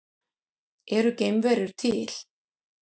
Eru geimverur til?